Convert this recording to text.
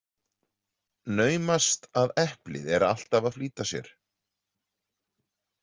Naumast að eplið er alltf að flýta sér.